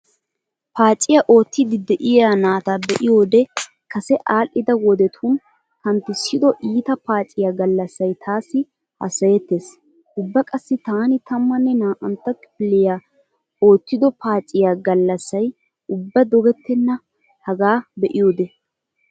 Paaciyaa oottiidi de'iyaa naata be'iyoode kase aadhdhida wodetun kanttissido iita paciyaa gallssay taassi hassayettees. Ubba qassi taani tammanne naa"antta kifiliyan oottido paaciyaa gallssay ubba dogetenna hagaa be'iyoode.